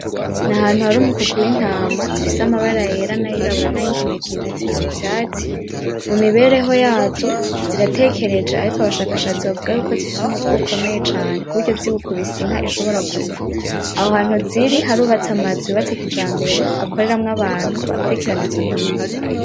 Ni ahantu hari umukuku w'intama zifise amabara yera n'ayirabura , nay'inginagina, ziri mu vyatsi. Mu mibereho yazo, zitarekereje ariko abashakashatsi bavuga ko zifise umutwe ukomeye cane kuburyo ziwukubise inka ishobora gupfa. Aho hantu ziri harubatse amazu yubatse kijambere akoreramwo abantu bakurikirana izo ntama.